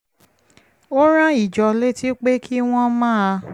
ó rán ìjọ létí pé kí wọ́n máa